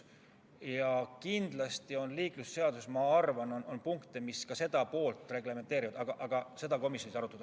Ma arvan, et kindlasti on liiklusseaduses punkte, mis ka seda poolt reglementeerivad, aga seda komisjonis ei arutatud.